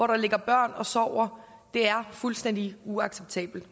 der ligger børn og sover det er fuldstændig uacceptabelt